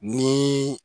Ni